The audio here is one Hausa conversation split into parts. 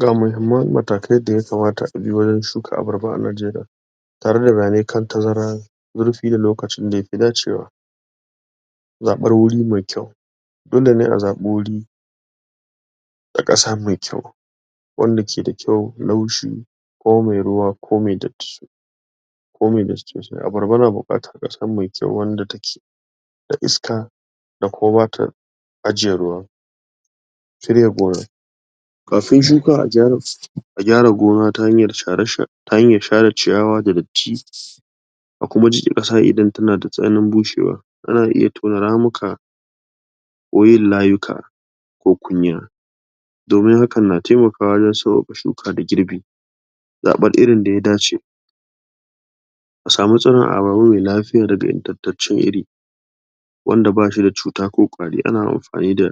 ga muhimman matakai da ya kamata abi wajen shuka abarba a Najeriya??... da lokacin da yafi dacewa zaɓar wuri mai kyau? a ƙasa mai kyau wanda ke da kyau laushi ko mai ruwa ko mai datti ko mai datti sosai abarba na buƙatar ƙasa mai kyau wanda take da iska da ko bata ajiye ruwa? kafin shuka? a gyara gona ta hanyar share share ta hanyar share ciyawa da daddti a kuma jiƙe ƙasa idan tana da tsananin bushewa ana iya tona ramuka ko yin layuka ko kunya damin hakan na taimakawa wajen sauƙaƙawa shuka da girbi zaɓar irin da ya dace a samu tsiron abarba mai lafiya daga ingantaccen iri wanda bashi da cuta ko ƙwari ana amfani da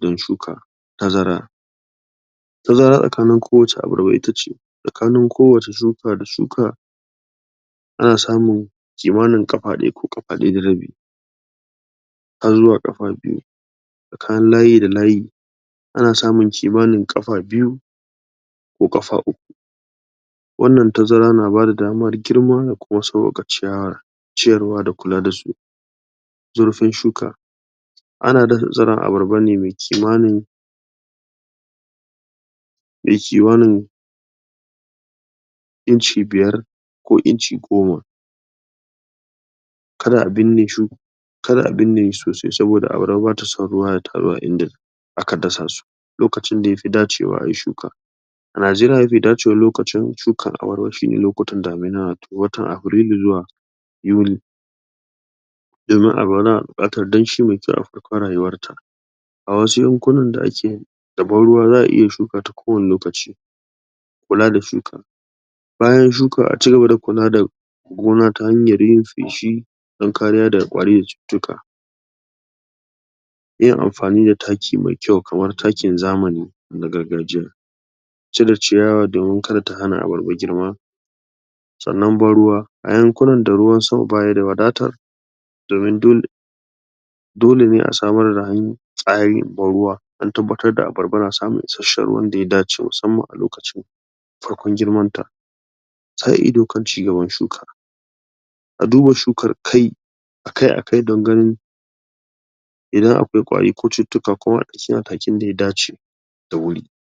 ?..din shuka tazara tazara tsakanin kowacce abarba ita ce tsakanin kowacce shuka da shuka ana samun kimanin ƙafa ɗaya ko ƙafa ɗaya da rabi har zuwa ƙafa biyu tsakanin layi da layi ana samun kimanin ƙafa biyu ko ƙafa uku wannan tazara na bada damar girma ko sauƙaƙa ciyawar ciyarwa da kula da su zurfin shuka ana dasa tsiron abarba mai kimanin mai kimanin inci biyar ko inci goma kada a binne shu kada a binne shi sosai saboda abarba bata son ruwa ya taru a inda aka dasa su lokacin da yafi dacewa ayi shuka a Najeriya mafi dacewar lokacin shukan abarba shine lokutan damina watan afrilu zuwa yuli? a wasu yankunan da ake da ban ruwa za'a iya shukata kowani lokaci kula da shukar bayan shuka a cigaba da kula da gona ta hanyar yin feshi dan kariya da ƙwari cututtuka yin amfani da taki mai kyau kamar takin zamani da na gargajiya cire ciyawa domin kada ta hana abarba girma sannan ban ruwa a yankunan da ruwan sama baya da wadata domin dole dole ne a samar da han tsari ban ruwa an tabbatar da abarba na samun ruwan da ya dace musamman a lokacin farkon girman ta sa ido kan ci gaban shukar duba shukar kai kai a kai don ganin idan akwai ƙwari ko cututtuka ko sai madakin da ya dace da wuri